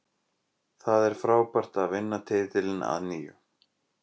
Það er frábært að vinna titilinn að nýju.